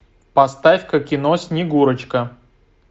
поставь ка кино снегурочка